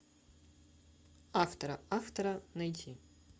автора автора найти